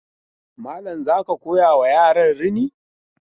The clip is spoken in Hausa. Malam za ka koyawa yaran rini?